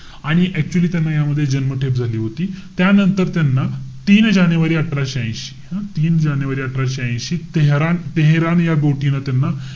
आणि actually त्यांना यामध्ये जन्मठेप झाली होती. त्यानंतर त्यांना तीन जानेवारी अठराशे ऐशी हं? तीन जानेवारी अठराशे ऐशी तेहरान~ तेहरान या न त्यांना,